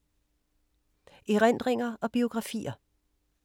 Erindringer og biografier